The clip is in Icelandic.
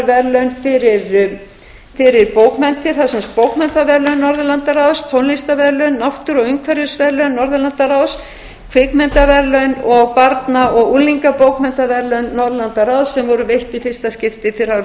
verðlaun fyrir bókmenntir það eru sem sagt bókmenntaverðlaun norðurlandaráðs tónlistarverðlaun náttúru og umhverfisverðlaun norðurlandaráðs kvikmyndaverðlaun og barna og unglingabókmenntaverðlaun norðurlandaráðs sem voru veitt í fyrsta skipti fyrir árið tvö þúsund